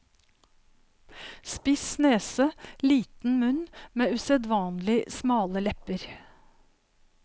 Spiss nese, liten munn med usedvanlig smale lepper.